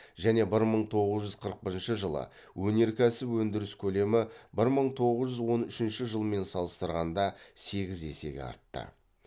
және бір мың тоғыз жүз қырық бірінші жылы өнеркәсіп өндіріс көлемі бір мың тоғыз жүз он үшінші жылмен салыстырғанда сегіз есеге артты